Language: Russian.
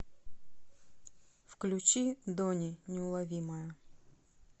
включи дони неуловимая